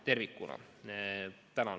Tänan!